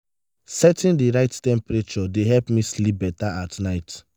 setting the right temperature dey help me sleep better at night.